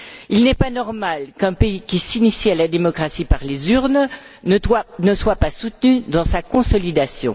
Il n'est pas normal qu'un pays qui s'initie à la démocratie par les urnes ne soit pas soutenu dans sa consolidation.